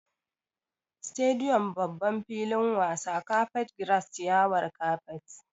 Stadium=babban filin wasa, carpet grass=ciyawar kapet